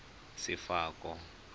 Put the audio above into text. sefako